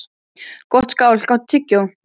Gottskálk, áttu tyggjó?